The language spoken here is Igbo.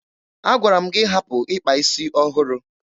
Agwara m gị hapụ ịkpa isi ọhụrụ!